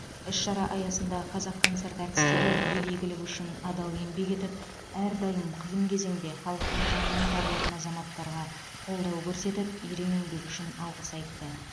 іс шара аясында қазақконцерт әртістері ел игілігі үшін адал еңбек етіп әрдайым қиын кезеңде халықтың жанынан табылатын азаматтарға қолдау көрсетіп ерен еңбегі үшін алғыс айтты